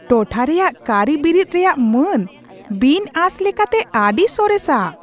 ᱴᱚᱴᱷᱟ ᱨᱮᱭᱟᱜ ᱠᱟᱹᱨᱤᱵᱤᱨᱤᱫ ᱨᱮᱭᱟᱜ ᱢᱟᱱ ᱵᱤᱱᱼᱟᱸᱥ ᱞᱮᱠᱟᱛᱮ ᱟᱹᱰᱤ ᱥᱚᱨᱮᱥᱟ ᱾